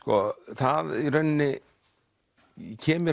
það í rauninni kemur